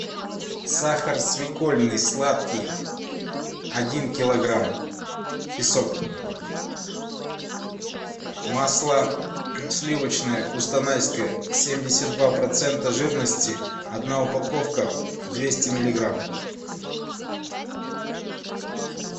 сахар свекольный сладкий один килограмм песок масло сливочное кустанайское семьдесят два процента жирности одна упаковка двести миллиграмм